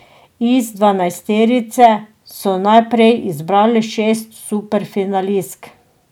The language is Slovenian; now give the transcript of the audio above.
Iz dvanajsterice so najprej izbrali šest superfinalistk.